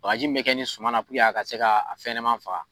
Bgaaji min bɛ kɛ ni suman la walasa a ka se fɛnɲɛnama faga.